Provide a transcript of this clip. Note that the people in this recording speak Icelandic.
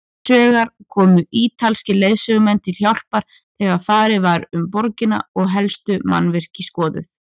Hinsvegar komu ítalskir leiðsögumenn til hjálpar þegar farið var um borgina og helstu mannvirki skoðuð.